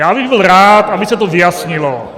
Já bych byl rád, aby se to vyjasnilo.